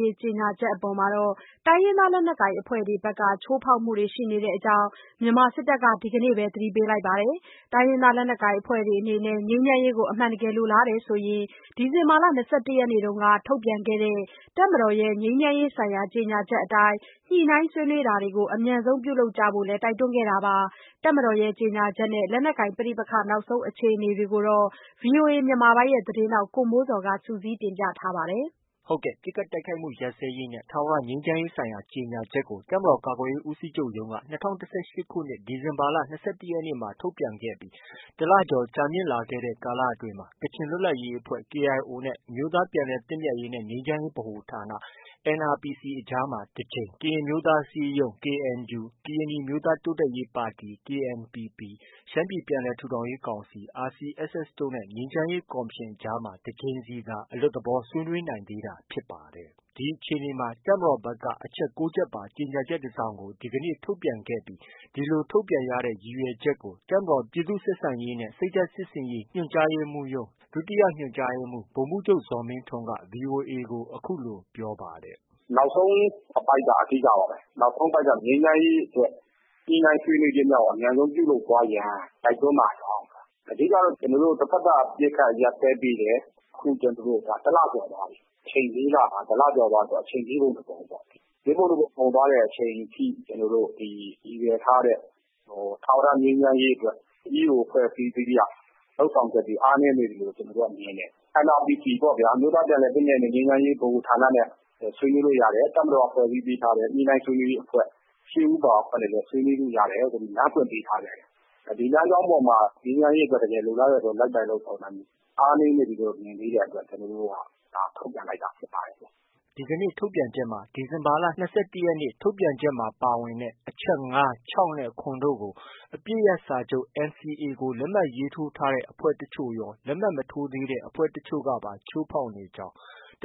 ရေး ကြေညာချက်အပေါ် တိုင်းရင်းသား လက်နက်ကိုင် အဖွဲ့တွေဘက်က ချိုးဖောက်မှုတွေ ရှိနေတဲ့အကြောင်း မြန်မာစစ်တပ်က ဒီနေ့ပဲ သတိပေးလိုက်ပါတယ်။ တိုင်းရင်းသားလက်နက်ကိုင်အဖွဲ့တွေအနေနဲ့ ငြိမ်းချမ်းရေး ကို အမှန်တကယ်လိုလားတယ်ဆိုရင် ဒီဇင်ဘာလ ၂၁ ရက်နေ့က ထုတ်ပြန်ခဲ့တဲ့ တပ်မတော်ရဲ့ ငြိမ်းချမ်းရေးဆိုင်ရာ ကြေညာချက်အတိုင်း ညှိနှိုင်းဆွေးနွေး တာ တွေကို အမြန်ဆုံး ပြုလုပ်ကြဖို့လည်း တိုက်တွန်းခဲ့တာပါ။ တပ်မတော်ရဲ့ ကြေညာချက်နဲ့ လက်နက်ကိုင် ပဋိပက္ခ နောက်ဆုံးအခြေအနေတွေကို ဗွီအိုအေမြန်မာပိုင်း သတင်းထောက် ကိုမိုးဇော်က တင်ပြထားပါတယ်။ ပစ်ခိုက်တိုက်ခိုက်မှုရပ်စဲရေးနဲ့ ထာဝရငြိမ်းချမ်းရေးဆိုင်ရာ ကြေညာချက်ကို တပ်မတော် ကာကွယ်ရေး ဦးစီးချုပ် ရုံးက ၂၀၁၈ ခုနှစ် ဒီဇင်ဘာလ ၂၁ ရက်နေ့မှာ ထုတ်ပြန်ခဲ့ပြီး တလကျော်ကြာမြင့်လာခဲ့တဲ့ ကာလအတွင်း ကချင်လွတ်လပ်ရေးအဖွဲ့ KIO နဲ့ အမျိုးသား ပြန်လည်သင့်မြတ်ရေးနဲ့ ငြိမ်းချမ်းရေးဗဟိုဌာန NRPC ကြား တကြိမ်၊ ကရင်အမျိုးသား အစည်းအရုံး KNU၊ ကရင်နီအမျိုးသားတိုးတက်ရေးပါတီ KNPP၊ ရှမ်းပြည် ပြန်လည် ထူထောင်ရေးကောင်စီ RCSS တို့နဲ့ ငြိမ်းချမ်းရေးကော်မရှင်အကြား တကြိမ်စီသာ အလွတ်သဘော ဆွေးနွေးနိုင်သေးတာဖြစ်ပါတယ်။ ဒီအခြေအနေမှာ တပ်မတော်ဘက်က အချက် ၉ ချက်ပါ ကြေညာချက် တစောင်ကို ဒီနေ့ ထုတ်ပြန်ပြီး ဒီလို ထုတ်ပြန်ရတဲ့ အဓိက ရည်ရွယ်ချက်ကို တပ်မတော် ပြည်သူ့ဆက်ဆံရေးနဲ့ စိတ်ဓာတ် စစ်ဆင်ရေး ညွှန်ကြားရေးမှူးရုံး ဒုညွှန်မှူး ဗိုလ်မှူးချုပ်ဇော်မင်းထွန်းက VOA ကို အခုလို ပြောပါတယ်။ “နောက်ဆုံးအပိုဒ်က အဓိကပါပဲ။ နောက်ဆုံးအပိုဒ်က ငြိမ်းချမ်းရေးအတွက် ညှိနှိုင်း ဆွေးနွေးခြင်းများကို အမြန်ဆုံး ပြုလုပ်သွားရန် တိုက်တွန်းပါကြောင်း၊ အဓိကကတော့ ကျနော်တို့ တဘက်သတ် အပစ်အခတ် ရပ်စဲပေးတယ်။ အခု တလကျော်သွားပြီ။ အချိန် လေးလမှာ တလကျော်သွားပြီဆိုတော့ လေးပုံ တပုံပေါ့။ လေးပုံတပုံကုန်သွားတဲ့အချိန်ထိ ကျနော်တို့ ရည်ရွယ်ထားတဲ့ ထာဝရ ငြိမ်းချမ်းရေးအတွက် EAO အဖွဲ့အစည်း အသီးသီးက လုပ်ဆောင်ချက်တွေ အားနည်းနေသေးတယ်လို့ ကျနော်တို့ကမြင်တယ်။ NRPC ပေါ့ဗျာ။ အမျိုးသား ပြန်လည်သင့်မြတ်ရေးနဲ့ ငြိမ်းချမ်းရေးဗဟိုဌာနနဲ့ ဆွေးနွေးလို့ ရတယ်။ တပ်မတော်က ဖွဲ့စည်း ပေးထားတဲ့ ညှိနှိုင်းဆွေးနွေးရေးအဖွဲ့ ၈ ဦးပါ အဖွဲ့နဲ့လည်း ဆွေးနွေးလို့ရတယ်။” ဒီကနေ့ ထုတ်ပြန်ချက်မှာ ဒီဇင်ဘာ ၂၁ ရက်နေ့ ထုတ်ပြန်ချက်မှာ ပါဝင်တဲ့ အချက် ၅၊ ၆ နဲ့ ၇ တို့ကို အပစ်ရပ် စာချုပ် NCA လက်မှတ်ထိုးထားတဲ့ အဖွဲ့တချို့ရော မထိုးသေးတဲ့ အဖွဲ့ တချို့ ကပါ ချိုးဖောက်နေကြောင်း